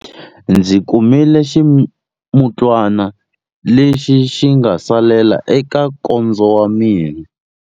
Ndzi kumile ximutwana lexi xi nga salela eka nkondzo wa mina.